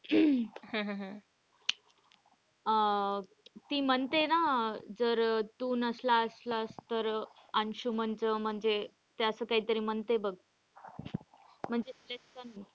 हम्म हम्म हम्म अह ती म्हणते ना जर तू नसला असलास तर अंशुमन च म्हणजे त्याच काय तरी म्हणते बघ म्हणजे त्याच.